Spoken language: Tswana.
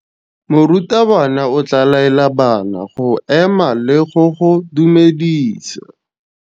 Morutabana o tla laela bana go ema le go go dumedisa.